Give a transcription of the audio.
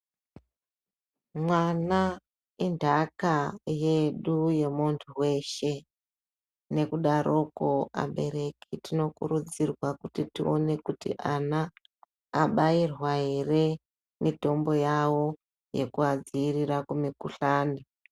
Mwana inthaka yedu yemunhu weshe ngekudaroko abereki tinokurudzirwa kuti tione kuti ana abairwa ere mitombo yawo yekuadziirire kumukhuhlani.